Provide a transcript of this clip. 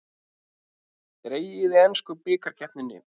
Dregið í ensku bikarkeppninni